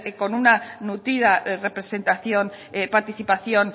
con una nutrida representación participación